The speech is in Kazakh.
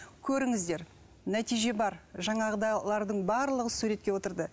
көріңіздер нәтиже бар жаңағыдайлардың барлығы суретке отырды